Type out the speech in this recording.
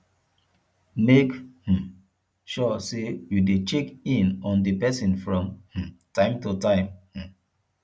make um sure say you de check in on di persin from um time to time um